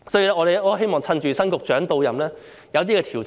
因此，我希望趁新局長到任，能夠落實一些調整。